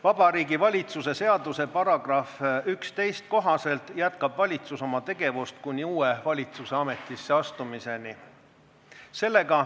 Vabariigi Valitsuse seaduse § 11 kohaselt jätkab valitsus oma tegevust kuni uue valitsuse ametisse astumiseni.